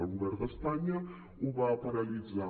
el govern d’espanya ho va paralitzar